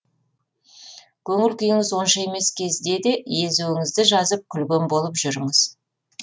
көңіл күйіңіз онша емес кезде де езуіңізді жазып күлген болып жүріңіз